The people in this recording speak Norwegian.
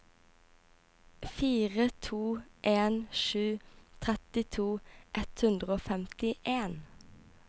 fire to en sju trettito ett hundre og femtien